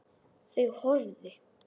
Þau horfðu.